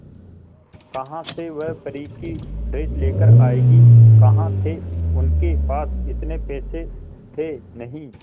कहां से वह परी की ड्रेस लेकर आएगी कहां थे उनके पास इतने पैसे थे नही